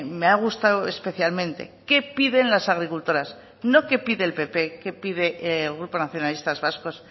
me ha gustado especialmente qué piden las agricultoras no qué pide el pp qué pide el grupo nacionalistas vascos